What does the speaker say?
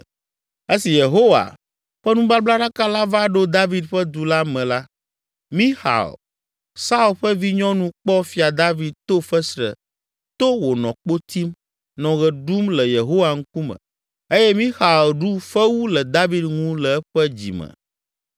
Esi Yehowa ƒe nubablaɖaka la va ɖo David ƒe du la me la, Mixal, Saul ƒe vinyɔnu kpɔ Fia David to fesre to wònɔ kpo tim, nɔ ɣe ɖum le Yehowa ŋkume eye Mixal ɖu fewu le David ŋu le eƒe dzime.